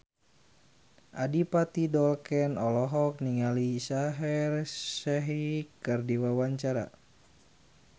Adipati Dolken olohok ningali Shaheer Sheikh keur diwawancara